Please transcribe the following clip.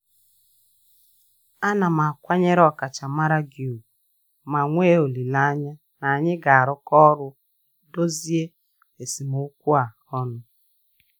Ana m akwanyere ọkachamara gị ùgwù ma nwee olileanya na anyị ga-arụkọ ọrụ dozie esemokwu a ọnụ.